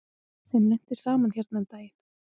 Þeim lenti saman hérna um daginn.